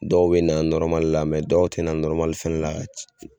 Dɔw bɛ na la dɔw tɛ na fɛnɛ la ka